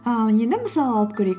ыыы енді мысал алып көрейік